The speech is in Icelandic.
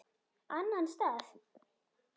Annan stað?